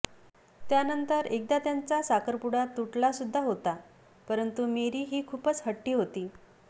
त्यानंतर एकदा त्यांचा साखरपुडा तुटला सुद्धा होता परंतु मेरी ही खूपच हट्टी होती